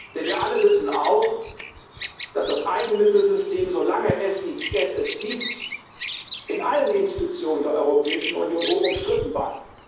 Denn wir alle wissen auch, dass das Eigenmittelsystem, solange es es gibt, in allen Institutionen der Europäischen Union hoch umstritten war.